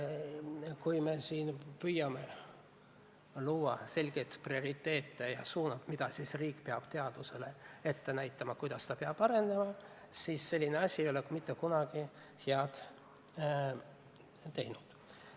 Kui me püüame siin luua selgeid prioriteete ja riigina teadust suunata, kuidas ta peab arenema, siis selline asi ei ole mitte kunagi head teinud.